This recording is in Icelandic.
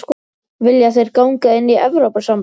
Vilja þeir ganga inn í Evrópusambandið?